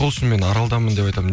сол үшін мен аралданмын деп айтамын